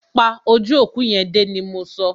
Pa ojú òkú yẹn dé! ni mọ so.